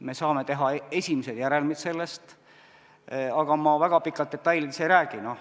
Me saame teha sellest esimesed järeldused, aga ma väga pikalt detailidest ei räägi.